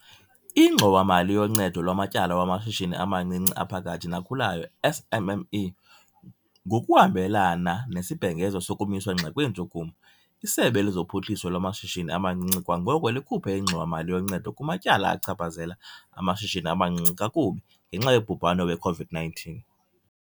INgxowa-mali yoNcedo lwaMatyala wamaShishini amaNcinci aPhakathi naKhulayo, SMME. Ngokuhambelana nesibhengezo sokumiswa ngxi kweentshukumo, iSebe lezoPhuhliso lwaMashishini amaNcinci kwangoko likhuphe ingxowa-mali yoncedo kumatyala achaphazela amashishini amancinci kakubi ngenxa yobhubhane we-COVID-19 .